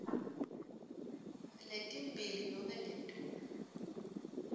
letimbili nobe ngetulu